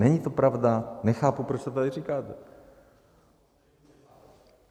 Není to pravda, nechápu, proč to tady říkáte.